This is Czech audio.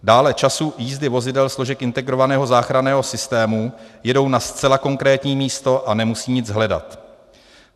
Dále času jízdy vozidel složek integrovaného záchranného systému - jedou na zcela konkrétní místo a nemusí nic hledat.